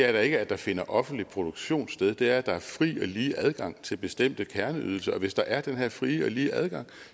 er da ikke at der finder en offentlig produktion sted men det er at der er fri og lige adgang til bestemte kerneydelser og hvis der er den her frie og lige adgang